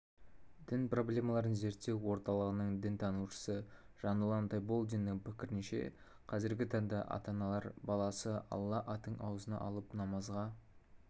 дін проблемаларын зерттеу орталығының дінтанушысыжанұлан тайболдиннің пікірінше қазіргі таңда ата-аналар баласы алла атын аузына алып намазға